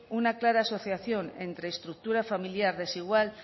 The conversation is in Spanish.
una clara asociación entre estructura familiar desigual